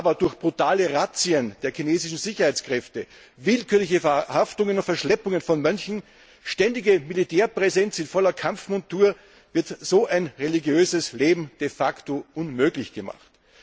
Aber durch brutale Razzien der chinesischen Sicherheitskräfte, willkürliche Verhaftungen und Verschleppungen von Mönchen, ständige Militärpräsenz in voller Kampfmontur wird so ein religiöses Leben de facto unmöglich gemacht.